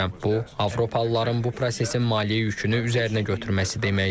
Bu, Avropalıların bu prosesin maliyyə yükünü üzərinə götürməsi deməkdir.